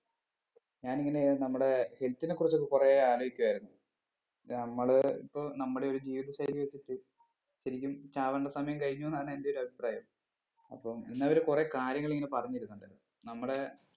ഞാന് ഇങ്ങനെ നമ്മുടെ health നെ കുറിച്ചൊക്കെ കുറേ അലോയ്ക്കുവായിരുന്നു നമ്മൾ ഇപ്പൊ നമ്മടെ ഒരു ജീവിത ശൈലി വെച്ചിട്ട് ശരിക്കും ചാവേണ്ട സമയം കഴിഞ്ഞു എന്നാണ് എൻ്റെ ഒരു അഭിപ്രായം അപ്പം ഇന്നവര് കുറേ കാര്യങ്ങൾ ഇങ്ങനെ പറഞ്ഞെരുന്നുണ്ട് നമ്മടെ